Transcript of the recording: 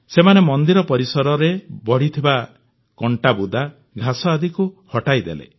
ସେମାନେ ମନ୍ଦିର ପରିସରରେ ବଢ଼ିଥିବା କଂଟାବୁଦା ଘାସ ଆଦିକୁ ହଟାଇଦେଲେ